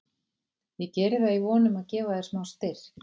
Ég geri það í von um að gefa þér smá styrk.